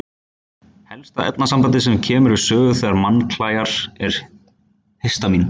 Helsta efnasambandið sem kemur við sögu þegar mann klæjar er histamín.